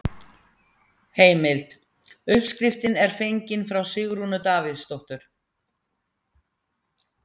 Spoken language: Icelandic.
Heimild: Uppskriftin er fengin frá Sigrúnu Davíðsdóttur.